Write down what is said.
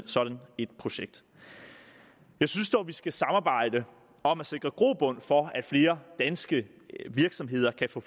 sådan et projekt jeg synes dog at vi skal samarbejde om at sikre grobund for at flere danske virksomheder kan få